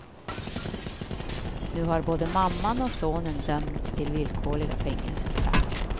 Nu har både mamman och sonen dömts till villkorliga fängelsestraff.